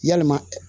Yalima